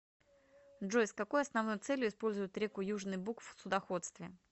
джой с какой основной целью используют реку южный буг в судоходстве